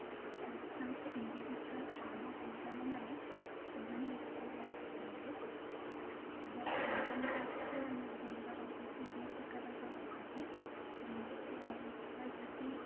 ସମସ୍ତେ individual pharma company ମାନେ ସେମାନେ income tax ଦିଅନ୍ତି ଆମର income tax ରେ ଆମର ରହୁଛି ଦି ପ୍ରକାର ରହୁଛି ଯେମିତି କି ଆମେ ଦେଖିବା ଯଦି